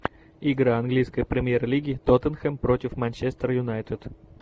игра английской премьер лиги тоттенхэм против манчестер юнайтед